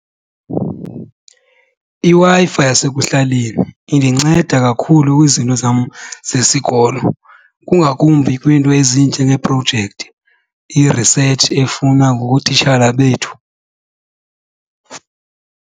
IWi-Fi yasekuhlaleni indinceda kakhulu kwizinto zam zesikolo kungakumbi kwiinto ezinjengeeprojekthi, i-research efunwa ngootitshala bethu.